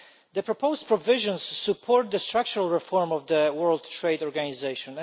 The proposed provisions support the structural reform of the World Trade Organization.